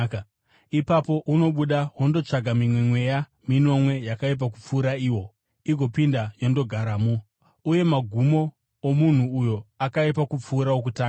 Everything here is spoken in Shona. Ipapo unobuda wondotsvaka mimwe mweya minomwe yakaipa kupfuura iwo, igopinda yondogaramo. Uye magumo omunhu uyo akaipa kupfuura okutanga.”